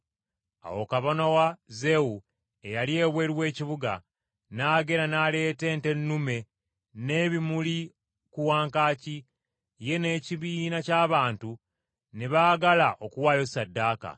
Awo kabona wa Zewu, eyali ebweru w’ekibuga, n’agenda n’aleeta ente ennume n’ebimuli ku wankaaki, ye n’ekibiina ky’abantu ne baagala okuwaayo ssaddaaka.